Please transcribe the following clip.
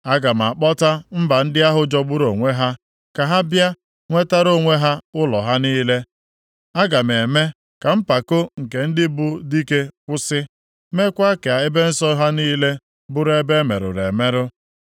Aga m akpọta mba ndị ahụ jọgburu onwe ha ka ha bịa nwetara onwe ha ụlọ ha niile. Aga m eme ka mpako nke ndị bụ dike kwụsị, meekwa ka ebe nsọ ha niile bụrụ ebe e merụrụ emerụ.